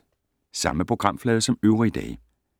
Samme programflade som øvrige dage